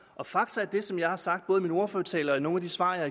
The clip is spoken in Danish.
og fakta er det som jeg har sagt både i min ordførertale og i nogle af de svar